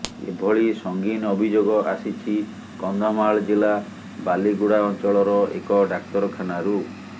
ଏଭଳି ସଙ୍ଗୀନ ଅଭିଯୋଗ ଆସିଛି କନ୍ଧମାଳ ଜିଲ୍ଲା ବାଲିଗୁଡ଼ା ଅଞ୍ଚଳର ଏକ ଡାକ୍ତରଖାନାରୁ